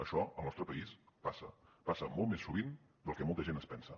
això al nostre país passa passa molt més sovint del que molta gent es pensa